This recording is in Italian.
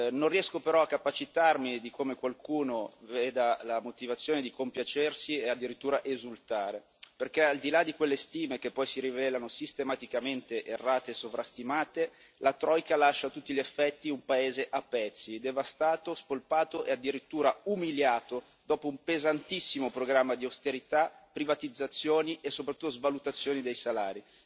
Non riesco però a capacitarmi di come qualcuno trovi la ragione di compiacersi e addirittura esultare, perché al di là di quelle stime che poi si rivelano sistematicamente errate e sovrastimate, la troika lascia a tutti gli effetti un paese a pezzi, devastato, spolpato e addirittura umiliato dopo un pesantissimo programma di austerità, privatizzazioni e, soprattutto, svalutazioni dei salari.